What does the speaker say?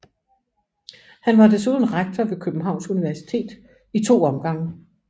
Han var desuden rektor ved Københavns Universitet i to omgange